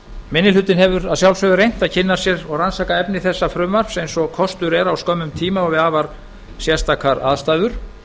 minni hlutinn hefur að sjálfsögðu reynt að kynna sér og rannsaka efni þessa frumvarps eins og kostur er á skömmum tíma og við afar sérstakar aðstæður